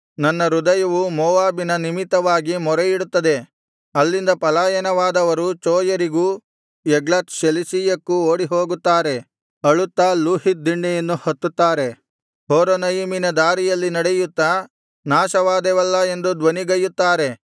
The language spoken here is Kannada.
ನನ್ನ ಹೃದಯವು ಮೋವಾಬಿನ ನಿಮಿತ್ತವಾಗಿ ಮೊರೆಯಿಡುತ್ತದೆ ಅಲ್ಲಿಂದ ಪಲಾಯನವಾದವರು ಚೋಯರಿಗೂ ಎಗ್ಲತ್ ಶೆಲಿಶೀಯಕ್ಕೂ ಓಡಿಹೋಗುತ್ತಾರೆ ಅಳುತ್ತಾ ಲೂಹೀತ್ ದಿಣ್ಣೆಯನ್ನು ಹತ್ತುತ್ತಾರೆ ಹೊರೊನಯಿಮಿನ ದಾರಿಯಲ್ಲಿ ನಡೆಯುತ್ತಾ ನಾಶವಾದೆವಲ್ಲಾ ಎಂದು ಧ್ವನಿಗೈಯುತ್ತಾರೆ